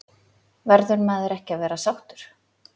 Verður maður ekki að vera sáttur?